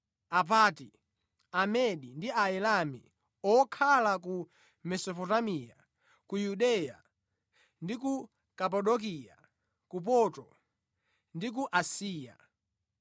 Apanti, Amedi ndi Aelami; okhala ku Mesopotamiya, ku Yudeya ndi ku Kapadokiya, ku Ponto ndi ku Asiya,